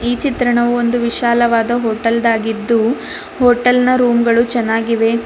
ಈ ಚಿತ್ರಣವು ಒಂದು ವಿಶಾಲವಾದ ಹೋಟೆಲ್ದಾಗಿದ್ದು ಹೋಟೆಲ್ನ ರೂಮ್ ಗಳು ಚೆನ್ನಾಗಿವೆ ಮ--